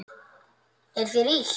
Er þér illt?